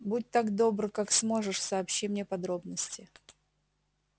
будь так добр как сможешь сообщи мне подробности